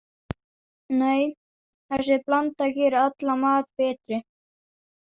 Nei, þessi blanda gerir allan mat betri.